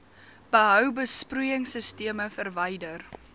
behou besproeiingsisteme verwyder